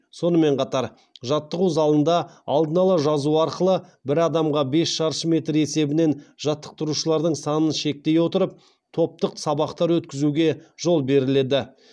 сонымен қатар жаттығу залында алдын ала жазу арқылы бір адамға бес шаршы метр есебінен жаттықтырушылардың санын шектей отырып топтық сабақтар өткізуге жол беріледі